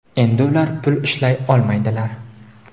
Endi ular pul ishlay olmaydilar.